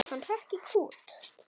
Hann hrökk í kút.